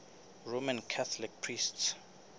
roman catholic priests